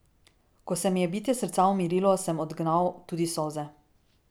Ko se mi je bitje srca umirilo, sem odgnal tudi solze.